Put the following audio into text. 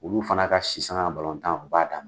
Olu fana ka si saŋa na balɔntan u b'a dam